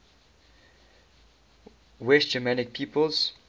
west germanic peoples